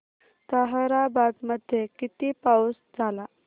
ताहराबाद मध्ये किती पाऊस झाला